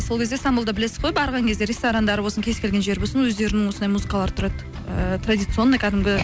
сол кезде стамбулды білесіз ғой барған кезде ресторандары болсын кез келген жері болсын өздерінің осындай музыкалары тұрады ыыы традиционный кәдімгі